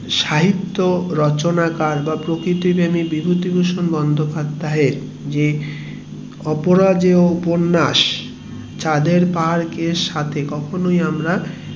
সাহিত্য রচনাকার বা প্রকৃতি প্রেমিক বিভূতিভূষণ বন্দোপাধ্যায়ের যে অপরাজেয় উপন্যাস চাঁদের পাহাড়ের সাথে কখনোই আমরা